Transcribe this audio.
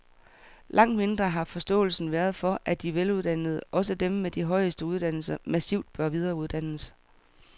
Langt mindre har forståelsen været for, at de veluddannede, også dem med de højeste uddannelser, massivt bør videreuddannes.